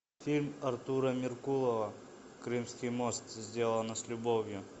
фильм артура меркулова крымский мост сделано с любовью